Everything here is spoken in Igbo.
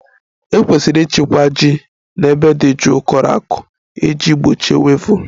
E kwesịrị ịchekwa ji n'ebe dị jụụ, kọrọ ako iji gbochie wivụl